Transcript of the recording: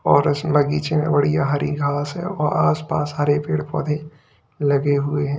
और इस बगीचे में बढ़िया हरी घास है व आसपास हरे पेड़ पौधे लगे हुए हैं।